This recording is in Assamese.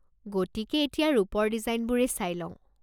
গতিকে এতিয়া ৰূপৰ ডিজাইনবোৰে চাই লও।